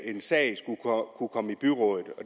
en sag skulle kunne komme i byrådet